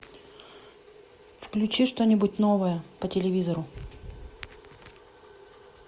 включи что нибудь новое по телевизору